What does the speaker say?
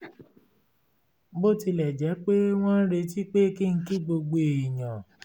bó tilẹ̀ jẹ́ pé wọ́n ń retí pé kí n kí gbogbo èèyàn